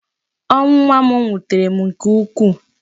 Ọnwụ nwa m wutere m nke ukwu.